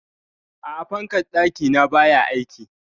A'a, fankar ɗaki na baya aiki?